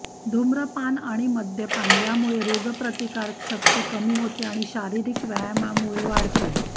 धूम्रपान आणि मद्यपान यामुळे रोगप्रतिकारशक्ति कमी होते आणि शारीरिक व्यायामामुळे वाढते